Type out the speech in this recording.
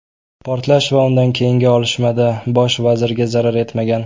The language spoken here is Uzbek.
Portlash va undan keyingi otishmada bosh vazirga zarar yetmagan .